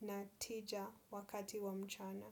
na tija wakati wa mchana.